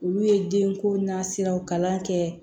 Olu ye den ko nasiraw kalan kɛ